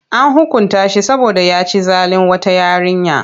An hukunta shi saboda ya ci zalin wata yarinya.